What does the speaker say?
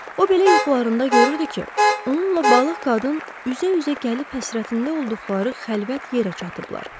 O belə yuxularında görürdü ki, onunla balıq qadın üz-üzə gəlib həsrətində olduqları xəlvət yerə çatıblar.